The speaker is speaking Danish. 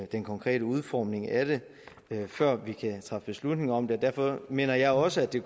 den konkrete udformning af det vil have før vi kan træffe beslutning om det derfor mener jeg også at det